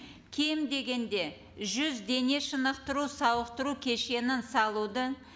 кем дегенде жүз дене шынықтыру сауықтыру кешенін салуды